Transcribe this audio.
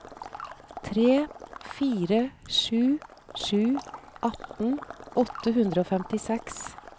tre fire sju sju atten åtte hundre og femtiseks